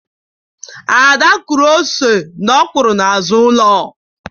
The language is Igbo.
Ada kụrụ ose na ọkwụrụ n'azụ ụlọ.